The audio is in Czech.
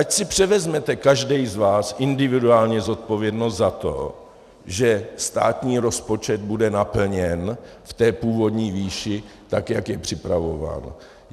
Ať si převezme každý z vás individuálně zodpovědnost za to, že státní rozpočet bude naplněn v té původní výši, tak jak je připravován.